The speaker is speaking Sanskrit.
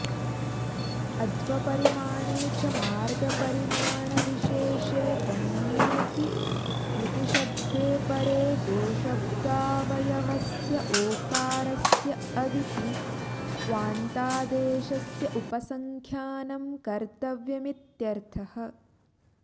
अध्वपरिमाणे च मार्गपरिमाणविशेषे गम्येऽपि यूतिशब्दे परे गोशब्दावयवस्य ओकारस्य अविति वान्तादेशस्य उपसङ्ख्यानं कर्तव्यमित्यर्थः